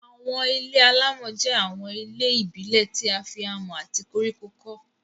Àwọn ilé-alámọ̀ jẹ́ àwọn ilé ìbílẹ̀ tí a fi amọ̀ àti koríko kọ́